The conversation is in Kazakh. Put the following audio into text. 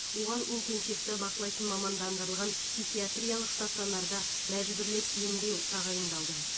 оған интенсивті бақылайтын мамандандырылған психиатриялық стационарда мәжбүрлеп емдеу тағайындалды